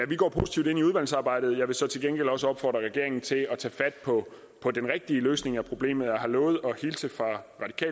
vi går positivt ind i udvalgsarbejdet jeg vil så til gengæld så også opfordre regeringen til at tage fat på den rigtige løsning af problemet jeg har lovet at hilse fra